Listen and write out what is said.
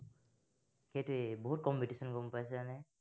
সেইটোৱেই বহুত competition গম পাইছানে।